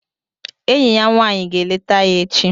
Enyi ya nwanyị ga-eleta ya echi